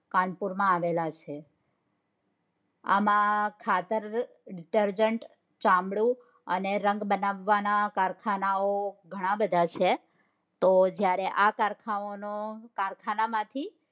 કાનપુર માં આવેલા છે. આમાં ખાતર ditergent, ચામડું અને રંગ બનાવવા ના કારખાના ઘણાબધા છે તો જયારે આ કારખાનાઓ નો કારખાનામાંથી